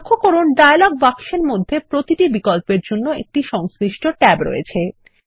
লক্ষ্য করুন ডায়লগ বাক্সের মধ্যে প্রতিটি বিকল্পের জন্য একটি সংশ্লিষ্ট ট্যাব রয়েছে